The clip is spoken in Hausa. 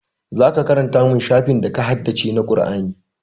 Zaka karanta min shafin da ka haddace na Qur'ani